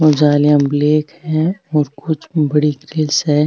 जालियां ब्लैक है और कुछ बड़ी है।